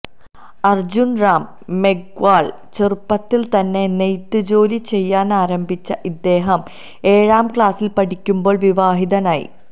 അർജുൻ റാം മെഗ്വാൾ ചെറുപ്പത്തിൽ തന്നെ നെയ്ത്ത് ജോലി ചെയ്യാനാരംഭിച്ച ഇദ്ദേഹം ഏഴാം ക്ലാസിൽ പഠിക്കുമ്പോൾ വിവാഹിതനായി